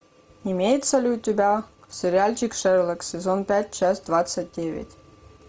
имеется ли у тебя сериальчик шерлок сезон пять часть двадцать девять